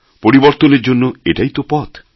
পরিবর্তনের জন্য এটাই তো পথ